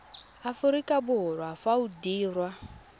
aforika borwa fa o dirwa